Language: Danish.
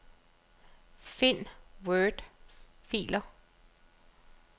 Find wordfiler.